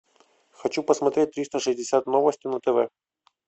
хочу посмотреть триста шестьдесят новости на тв